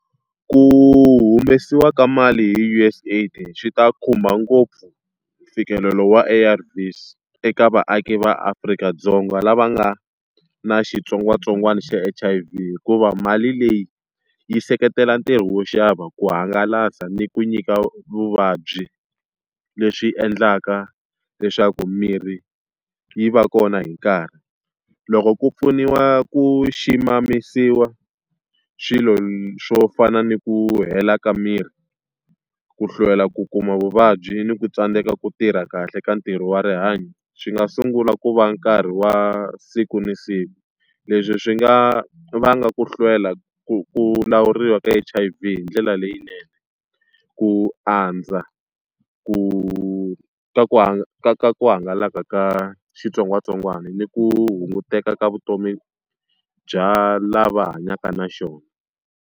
Hu humesiwa ka mali hi U_S AID swi ta khumba ngopfu mfikelelo wa A_R_Vs eka vaaki va Afrika-Dzonga lava nga na xitsongwatsongwana xa H_I_V hikuva mali leyi yi seketela ntirho wo xava, ku hangalasa, ni ku nyika vuvabyi. Leswi endlaka leswaku mirhi yi va kona hi nkarhi. Loko ku pfuniwa ku ximamisiwa swilo swo fana ni ku hela ka mirhi, ku hlwela ku kuma vuvabyi, ni ku tsandzeka ku tirha kahle ka ntirho wa rihanyo, swi nga sungula ku va nkarhi wa siku na siku. Leswi swi nga vanga ku hlwela ku lawuriwa ka H_I_V hi ndlela leyinene, ku andza, ku ka ka ka ku hangalaka ka xitsongwatsongwana, ni ku hunguteka ka vutomi bya lava hanyaka na xona.